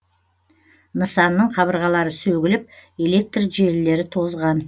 нысанның қабырғалары сөгіліп электр желілері тозған